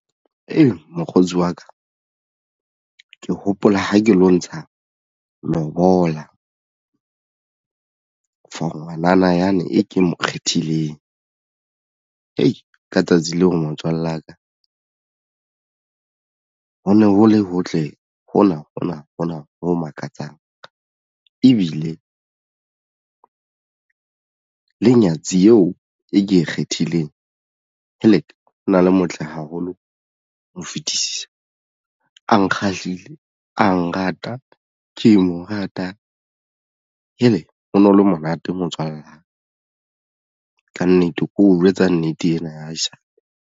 Ee, mokgotsi wa ka ke hopola ha ke lo ntsha lobola for ngwanana yane e ke mo kgethileng hei ka tsatsi leo motswalle wa ka hone ho le hotle hona hona hona ho makatsang ebile le nyatsi eo e ke e kgethileng helek! ona le motle haholo ho fetisisa a nkgahlile a nrata ke mo rata hele! hono le monate motswalla kannete o jwetsa nnete ena ya haesale.